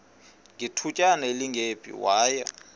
ngethutyana elingephi waya